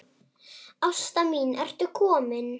Ásta mín ertu komin?